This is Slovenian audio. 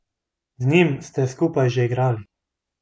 Z njim ste skupaj še igrali.